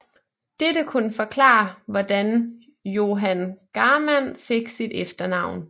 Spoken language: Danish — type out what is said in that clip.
Dette kunne forklare hvordan Johan Garmann fik sit efternavn